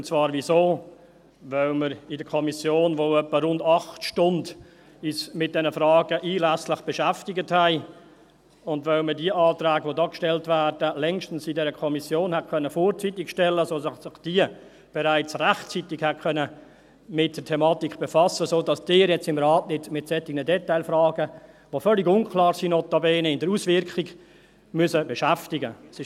Weshalb? – Weil wir uns in der Kommission wohl etwa 8 Stunden einlässlich mit diesen Fragen beschäftigt haben und weil man die Anträge, die hier gestellt werden, in der Kommission längstens vorzeitig hätte stellen können, sodass sich diese bereits rechtzeitig mit der Thematik hätte befassen können und Sie sich im Rat jetzt nicht mit solchen Detailfragen, die notabene in der Auswirkung völlig unklar sind, beschäftigen müssten.